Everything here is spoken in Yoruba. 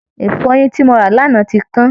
Ìfọyín tí mo rà lánàá ti kán